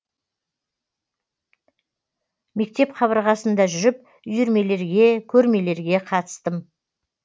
мектеп қабырғасында жүріп үйірмелерге көрмелерге қатыстым